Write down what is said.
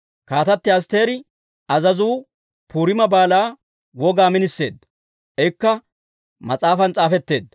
Kaatatti Asttiri azazuu Puriima Baalaa wogaa miniseedda; ikka mas'aafan s'aafetteedda.